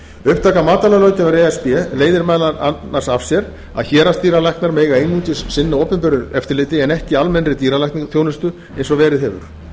upptaka matvælalöggjafar e s b leiðir meðal annars af sér að héraðsdýralæknar mega einungis sinna opinberu eftirliti en ekki almennri dýralæknisþjónustu eins og verið hefur